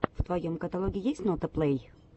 в твоем каталоге есть нота плей